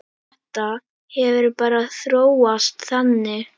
Þetta hefur bara þróast þannig.